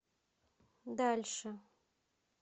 дальше